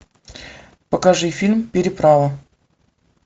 покажи фильм переправа